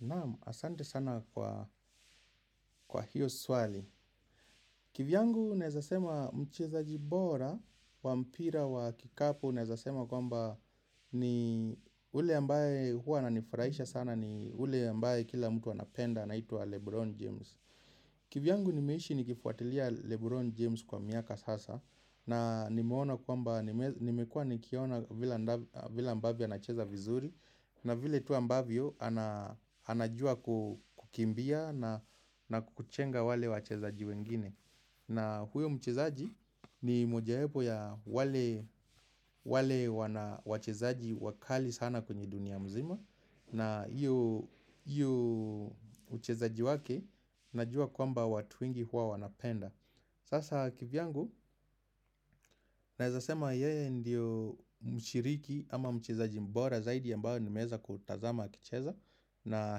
Naam, asante sana kwa hiyo swali. Kivyangu naezasema mchezaji bora wa mpira wa kikapu nezasema kwamba ni ule ambaye huwa nanifurahisha sana ni ule ambaye kila mtu anapenda anaitwa Lebron James. Kivyangu nimeishi nikifuatilia Lebron James kwa miaka sasa na nimekua nikiona vile ambavio anacheza vizuri na vile tu wa ambavio anajua kukimbia na kuchenga wale wachezaji wengine. Na huyo mchezaji ni mojaepo ya wale wachezaji wakali sana kwenye dunia mzima na hiyo uchezaji wake najua kwamba watu wengi huwa wanapenda Sasa kivyangu naezasema yeye ndiyo mshiriki ama mchezaji mbora zaidi ya mbao ni meza kutazama akicheza na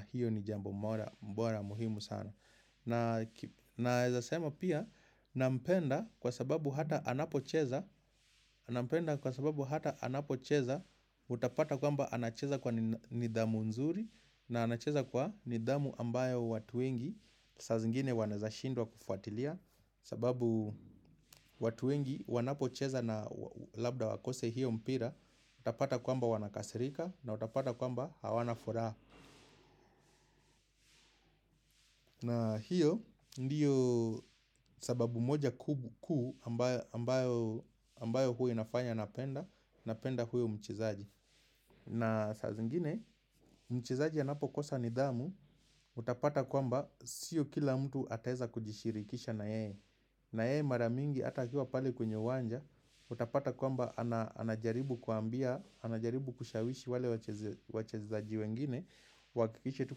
hiyo ni jambo mbora mbora muhimu sana Naeza sema pia nampenda kwa sababu hata anapocheza utapata kwamba anacheza kwa nidhamu nzuri na anacheza kwa nidhamu ambayo watu wengi sa zingine wanaezashindwa kufuatilia sababu watu wengi wanapocheza na labda wakose hiyo mpira utapata kwamba wanakasirika na utapata kwamba hawanafura na hiyo ndiyo sababu moja kuu ambayo huwa inafanya napenda, napenda huo mchezaji na saa zingine, mchezaji anapo kosa nidhamu, utapata kwamba sio kila mtu ataeza kujishirikisha na ye na yeye maramingi ata akiuwa pale kwenye uwanja, utapata kwamba anajaribu kuambia, anajaribu kushawishi wale wachezaji wengine Wakikisha tu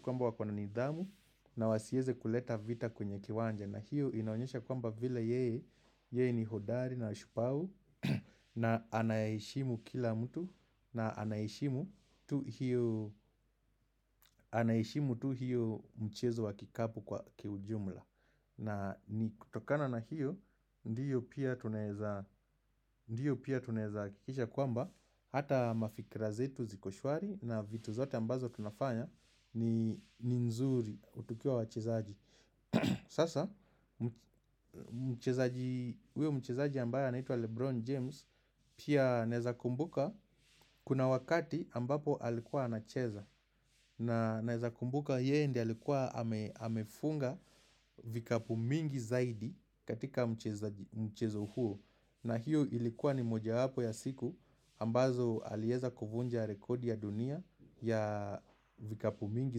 kwamba wakona nidhamu na wasieze kuleta vita kwenye kiwanja na hiyo inaonyesha kwamba vile yeye ni hodari na shupavu na anayeshimu kila mtu na anayeshimu tu hiyo mchezo wakikapu kwa kiujumla na ni kutokana na hiyo ndiyo pia tunezakikisha kwamba Hata mafikira zetu zikoshwari na vitu zote ambazo tunafanya ni nzuri tukiwa wachezaji Sasa, huyo mchezaji ambayo anaitua Lebron James Pia neza kumbuka kuna wakati ambapo alikuwa anacheza na neza kumbuka yeye ndiyo alikuwa amefunga vikapu mingi zaidi katika mchezo huo na hiyo ilikuwa ni moja hapo ya siku ambazo alieza kufunja rekodi ya dunia ya vikapu mingi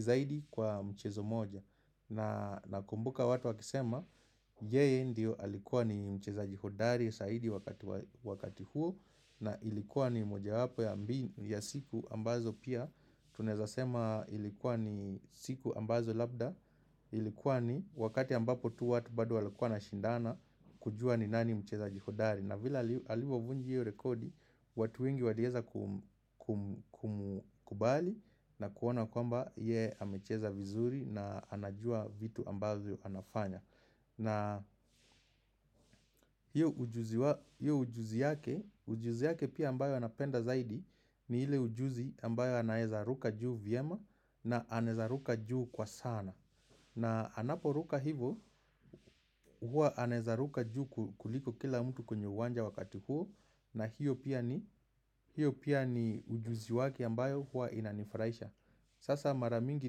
zaidi kwa mchezo moja Nakumbuka watu wakisema yeye ndio alikuwa ni mchezaji hodari saidi wakati huo na ilikuwa ni moja hapo ya siku ambazo pia tunezasema ilikuwa ni siku ambazo labda ilikuwa ni wakati ambapo tu watu bado walikuwa nashindana kujua ni nani mchezaji hodari na vile alivavunja hiyo rekodi watu wengi walieza kumkubali na kuona kwamba ye hamecheza vizuri na anajua vitu ambazo yu anafanya na hiyo ujuzi yake pia ambayo anapenda zaidi ni hile ujuzi ambayo anayezaruka juu vyema na anezaruka juu kwa sana na anaporuka hivo, hua anezaruka juu kuliko kila mtu kwenye wanja wakati huo na hiyo pia ni ujuzi wake ambayo hua inanifraisha Sasa maramingi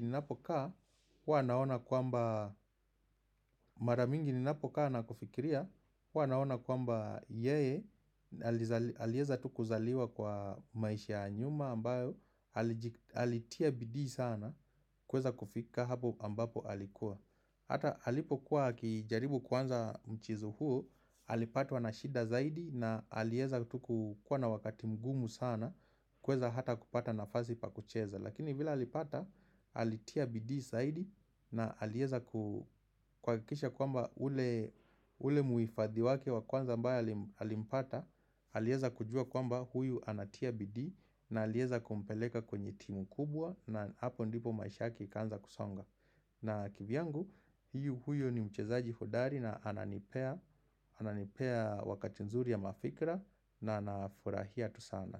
ninapo kaa, hua nahona kwamba Maramingi ninapo kaa na kufikiria, hua anahona kwamba yeye Alieza tukuzaliwa kwa maisha nyuma ambayo Alitia bidi sana kweza kufika hapo ambapo alikuwa Hata halipo kuwa akijaribu kwanza mchezo huo Halipatwa na shida zaidi na halieza tu kukuwa na wakati mgumu sana Kweza hata kupata nafazi pa kucheza Lakini vila halipata halitia bidi zaidi na halieza kukwakisha kwamba ule muifadhi wake wakwanza ambaye halimpata Halieza kujua kwamba huyu anatia bidi na halieza kumpeleka kwenye timu kubwa na hapo ndipo maisha yake ikanza kusonga na kivyangu, hiyo huyo ni mchezaji hodari na ananipea wakati nzuri ya mafikra na anafurahia tusana.